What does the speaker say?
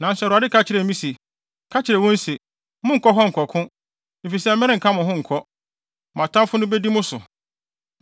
Nanso Awurade ka kyerɛɛ me se, “Ka kyerɛ wɔn se, ‘Monnkɔ hɔ nkɔko, efisɛ merenka mo ho nkɔ. Mo atamfo no bedi mo so.’ ”